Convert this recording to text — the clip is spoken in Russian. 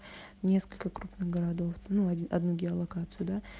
несколько крупных городов ну одну геолокацию да